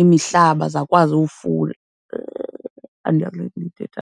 imihlaba zakwazi . Andiyazi le ndiyithethayo.